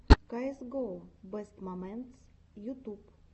каэс гоу бэст моментс ютуб